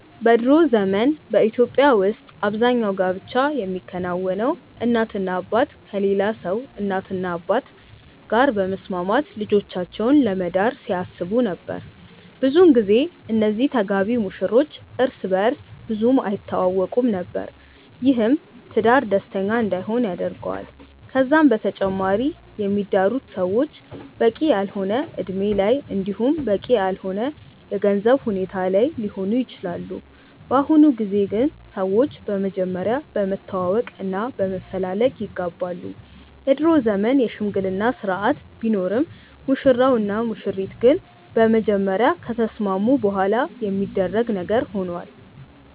በ ድሮ ዘመን በኢትዮጵያ ውስጥ አብዛኛው ጋብቻ የሚከናወነው እናትና አባት ከሌላ ሰው እናትና አባት ጋር በመስማማት ልጆቻቸውን ለመዳር ሲያስቡ ነበር። ብዙን ጊዜ እነዚህ ተጋቢ ሙሽሮች እርስ በእርስ ብዙም አይተዋወቁም ነበር። ይህም ትዳር ደስተኛ እንዳይሆን ያደርገዋል። ከዛም በተጨማሪ የሚዳሩት ሰዎች በቂ ያልሆነ እድሜ ላይ እንዲሁም በቂ ያልሆነ የገንዘብ ሁኔታ ላይ ሊሆኑ ይችላሉ። በአሁኑ ጊዜ ግን ሰዎች በመጀመሪያ በመተዋወቅ እና በመፈላለግ ይጋባሉ። የድሮ ዘመን የሽምግልና ስርአት ቢኖርም ሙሽራው እና ሙሽሪት ግን በመጀመሪያ ከተስማሙ በኋላ የሚደረግ ነገር ሆኗል።